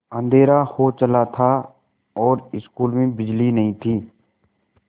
अँधेरा हो चला था और स्कूल में बिजली नहीं थी